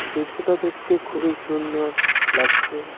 দৃশ্যটা দেখতে খুবই সুন্দর লাগছে.